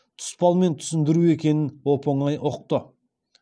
тұспалмен түсіндіру екенін оп оңай ұқты